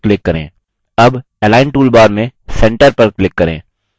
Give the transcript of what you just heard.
अब align toolbar में centre पर click करें